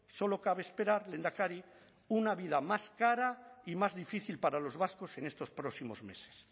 solo cabe esperar lehendakari una vida más cara y más difícil para los vascos en estos próximos meses